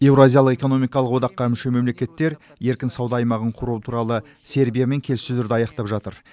еуразиялық экономикалық одаққа мүше мемлекеттер еркін сауда аймағын құру туралы сербиямен келіссөздерді аяқтап жатыр